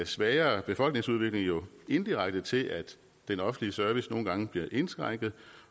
svagere befolkningsudvikling jo indirekte til at den offentlige service nogle gange bliver indskrænket